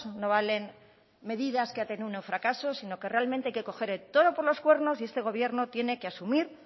no valen medidas que han terminado en fracaso sino que realmente hay que coger el toro por los cuernos y este gobierno tiene que asumir